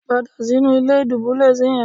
Padà sínú ilé dúbúlẹ́ẹ̀sì yẹn.